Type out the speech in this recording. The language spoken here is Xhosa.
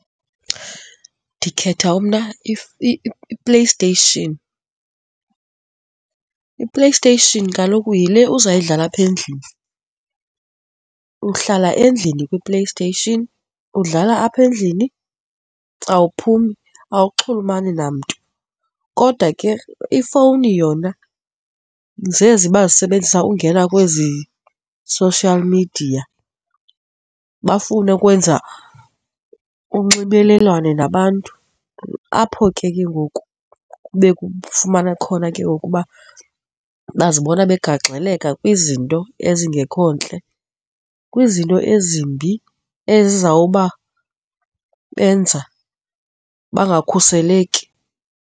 Ndikhetha mna iPlayStation. IPlayStation kaloku yile uzawudlala apha endlini, uhlala endlini kwiPlayStation, udlala apha endlini awuphumi, awuxhulumani namntu. Kodwa ke, ifowuni yona zezi bazisebenzisa ungena kwezi social media bafune ukwenza unxibelelwano nabantu apho ke, ke ngoku kube kufumana khona ke ngoku uba bazibona begagxeleka kwizinto ezingekho ntle, kwizinto ezimbi ezizawuba, benza bangakhuseleki.